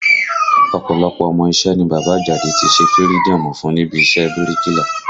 Ọ̀pọ̀lọpọ̀ ọmọ iṣẹ́ ni bàbá Àjàdí tí ṣe fïrídọ́ọ̀mù fún níbi iṣẹ́ ẹ bíríkìlà